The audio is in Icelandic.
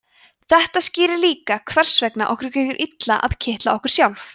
þetta skýrir líka hvers vegna okkur gengur illa að kitla okkur sjálf